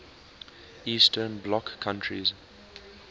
eastern bloc countries